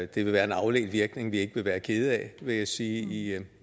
det vil være en afledt virkning vi ikke vil være kede af vil jeg sige i